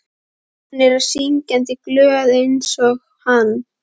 Hún er syngjandi glöð einsog hann.